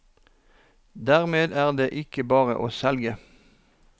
Dermed er det ikke bare å selge.